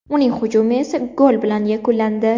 Uning hujumi esa gol bilan yakunlandi.